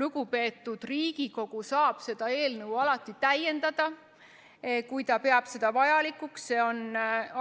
Lugupeetud Riigikogu saab seda eelnõu alati täiendada, kui ta peab seda vajalikuks, see on